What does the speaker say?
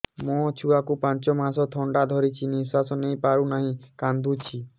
ମୋ ଛୁଆକୁ ପାଞ୍ଚ ମାସ ଥଣ୍ଡା ଧରିଛି ନିଶ୍ୱାସ ନେଇ ପାରୁ ନାହିଁ କାଂଦୁଛି